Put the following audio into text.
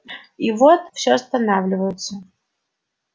и вдруг все останавливаются